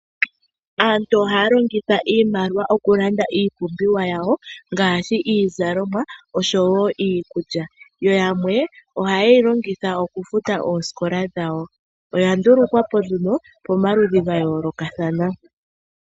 Aantu ohaya kongitha iimaliwa oku landa iipumbiwa yawo, ngaashi iizalomwa oshowo iikulya, yo yamwe oha yeyi longitha oku futa oosikola dhawo. Oya ndulukwapo nduno pamaludhi ga yoolokathana.